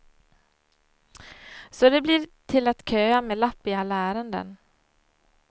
Så det blir till att köa med lapp i alla ärenden.